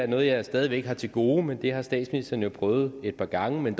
noget jeg stadig væk har til gode men det har statsministeren jo prøvet et par gange men